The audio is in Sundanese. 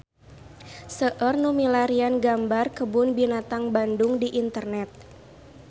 Seueur nu milarian gambar Kebun Binatang Bandung di internet